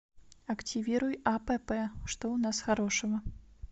активируй апп что у нас хорошего